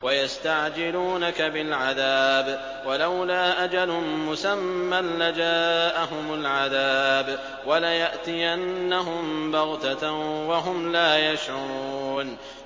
وَيَسْتَعْجِلُونَكَ بِالْعَذَابِ ۚ وَلَوْلَا أَجَلٌ مُّسَمًّى لَّجَاءَهُمُ الْعَذَابُ وَلَيَأْتِيَنَّهُم بَغْتَةً وَهُمْ لَا يَشْعُرُونَ